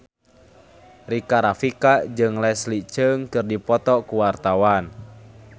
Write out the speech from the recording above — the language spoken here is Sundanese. Rika Rafika jeung Leslie Cheung keur dipoto ku wartawan